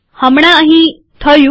હમણાં અહી થયું